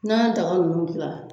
N'an ye daga ninnu dilani.